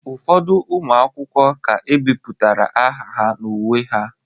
Ụfọdụ ụmụ akwụkwọ ka ebipụtara aha ha n'uwe ha